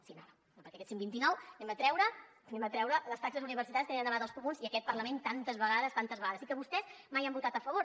sí però no perquè d’aquests cent i vint nou n’hem de treure les taxes universitàries que li han demanat els comuns i aquest parlament tantes vegades tantes vegades i que vostès mai han votat a favor